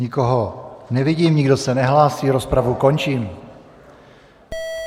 Nikoho nevidím, nikdo se nehlásí, rozpravu končím.